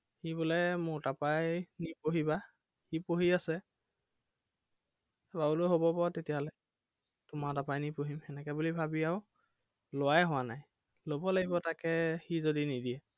সি বোলে মোৰ তাৰপৰাই নি পঢ়িবা সি পঢ়ি আছে। মই বোলো হব বাৰু তেতিয়াহলে। তোমাৰ তাৰপৰাই নি পঢ়িম এনেকে বুলি ভাবি আৰু লোৱাই হোৱা নাই ল'ব লাগিব তাকে, সি যদি নেদিয়ে